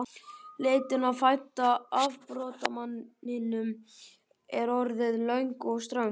Leitin að fædda afbrotamanninum er orðin löng og ströng.